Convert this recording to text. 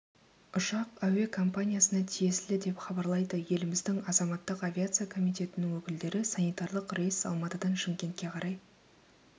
ұшақ әуе компаниясына тиесілі деп хабарлайды еліміздің азаматтық авиация комитетінің өкілдері санитарлық рейс алматыдан шымкентке қарай